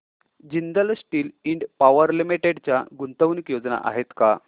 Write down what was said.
Jindal steel and power limited च्या गुंतवणूक योजना आहेत का